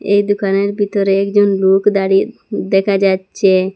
এই দোকানের বিতরে একজন লোক দাঁড়িয়ে দেখা যাচ্ছে।